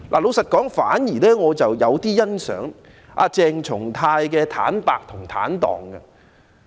說實話，我反而有點欣賞鄭松泰議員的坦白和坦蕩。